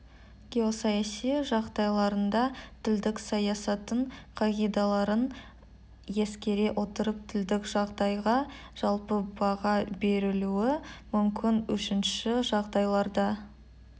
геосаяси жағдайларында тілдік саясаттың қағидаларын ескере отырып тілдік жағдайға жалпы баға берілуі мүмкін үшінші жағдайларда